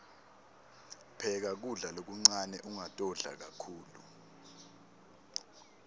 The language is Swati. pheka kudla lokuncane ungatodla kakhulu